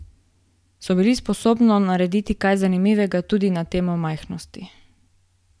So bili sposobno narediti kaj zanimivega tudi na temo majhnosti?